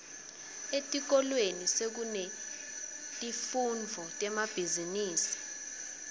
etikolweni sekunetifundvo temabhizimisi